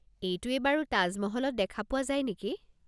এইটোৱেই বাৰু তাজ মহলত দেখা পোৱা যায় নেকি?